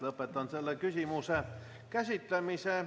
Lõpetan selle küsimuse käsitlemise.